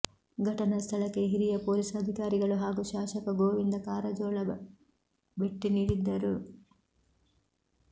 ಘಟನಾ ಸ್ಥಳಕ್ಕೆ ಹಿರಿಯ ಪೊಲೀಸ್ ಅಧಿಕಾರಿಗಳು ಹಾಗೂ ಶಾಸಕ ಗೋವಿಂದ ಕಾರಜೋಳ ಭೆಟ್ಟಿ ನೀಡಿದ್ದರು